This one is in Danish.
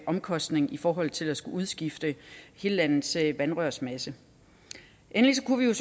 omkostning i forhold til at skulle udskifte hele landets vandrørsmasse endelig kunne